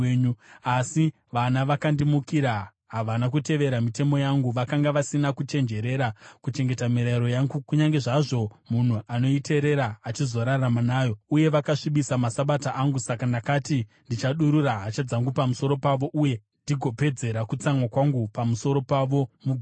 “ ‘Asi vana vakandimukira: havana kutevera mitemo yangu, vakanga vasina kuchenjerera kuchengeta mirayiro yangu, kunyange zvazvo munhu anoiteerera achizorarama nayo, uye vakasvibisa maSabata angu. Saka ndakati ndichadurura hasha dzangu pamusoro pavo uye ndigopedzera kutsamwa kwangu pamusoro pavo mugwenga.